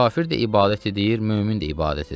Kafir də ibadət edir, mömin də ibadət edir.